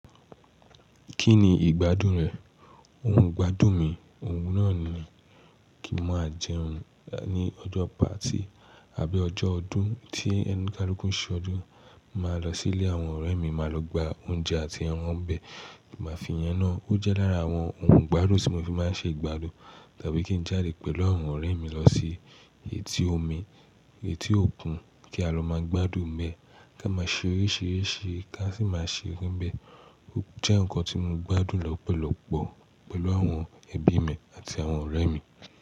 Kí ni ìgbádùn rẹ̀? Ohun ìgbádùn mi, òun náà ni kí n máa jẹun ní ọjọ́ party àbí ọjọ́ ọdún tí ẹnu kálukú ṣe ọdún, máa lọ sí ilé àwọn ọ̀rẹ́ mi, máa lọ gba oúnjẹ àti àwọn ọbẹ̀, kí a máa fi yẹn náà. Ó jẹ́ lára àwọn ohun ìgbádùn tí mo fi máa ń ṣe ìgbádùn. Tàbí kí n jáde pẹ̀lú àwọn ọ̀rẹ́ mi lọ sí etí omi, etí òkun kí a lọ máa gbádùn níbẹ̀, ká máa ṣe oríṣìíríṣìí, ká sì máa ṣe ọbẹ̀. Ó jẹ́ nǹkan tí mo gbádùn lọ́pọ̀lọpọ̀ pẹ̀lú àwọn ẹbí mi àti àwọn ọ̀rẹ́ mi.